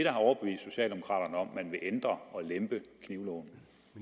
har overbevist socialdemokraterne om at man vil ændre og lempe i knivloven